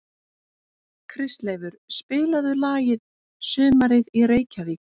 Kristleifur, spilaðu lagið „Sumarið í Reykjavík“.